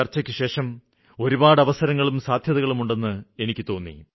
ഈ ചര്ച്ചയ്ക്ക് ശേഷം ഒരുപാട് അവസരങ്ങളും സാധ്യതകളും ഉണ്ടെന്ന് എനിക്ക് തോന്നി